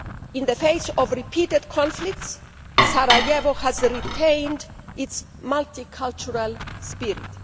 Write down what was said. In the face of repeated conflicts, Sarajevo has retained its multicultural spirit.